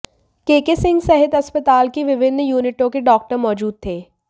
केके सिंह सहित अस्पताल की विभिन्न यूनिटों के डॉक्टर मौजूद थे